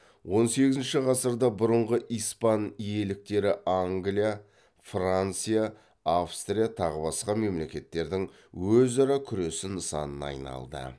он сегізінші ғасырда бұрынғы испан иеліктері англия франция австрия тағы басқа мемлекеттердің өзара күресі нысанына айналды